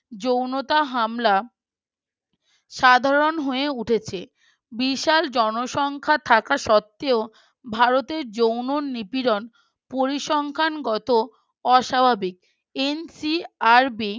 যৌনতা হামলা সাধারণ হয়ে উঠেছে বিশাল জনসংখ্যা থাকা সত্ত্বেও ভারতের যৌন নিপীড়ন পরিসংখ্যানগত অস্বাভাবিক NCRB